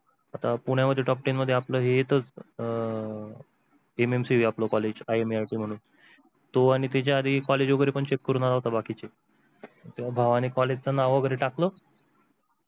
तर पुण्या मध्ये top ten मध्ये आपलं हे येताच NNC आपल collegeIMIIT म्हणून तो आणि त्याच्या college पण check करून बाकीचे आणि भावाने college च नाव वेगेरे टाकल